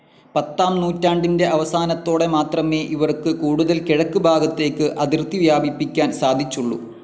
പത്താം നൂറ്റാണ്ടിൻ്റെ അവസാനത്തോടെ മാത്രമേ ഇവർക്ക് കൂടുതൽ കിഴക്ക് ഭാഗത്തേക്ക് അതിർത്തി വ്യാപിപ്പിക്കാൻ സാധിച്ചുള്ളൂ.